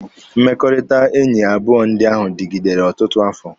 Mmekọrịta enyi abụọ ndị ahụ dịgidere ọtụtụ afọ.